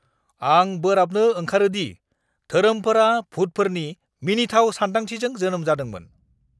आं बोराबनो ओंखारो दि धोरोमफोरा भुतफोरनि मिनिथाव सानदांथिजों जोनोम जादोंमोन।